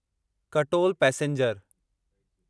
Katol passenger